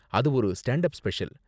அது ஒரு stand up special.